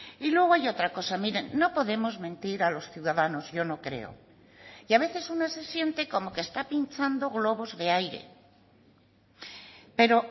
y luego hay otra cosa miren no podemos mentir a los ciudadanos yo no creo y a veces una se siente como que está pinchando globos de aire pero